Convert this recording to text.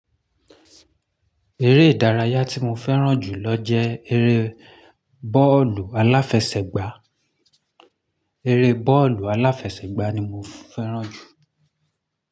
Eré ìdárayá tí mo fẹ́ràn jù lọ jẹ́ eré bọ́ọ̀lù aláfẹsẹ̀gbá. Eré bọ́ọ̀lù aláfẹsẹ̀gbá ni mo fẹ́ràn jù.